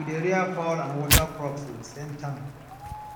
we dey rear fowl and water crops with the same tank